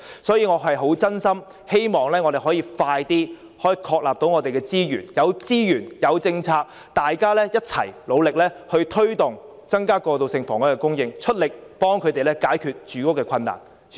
所以，我真心希望我們可以盡快確立資源，有資源、有政策，大家便可一起努力推動增加過渡性房屋供應，出力協助他們解決住屋困難。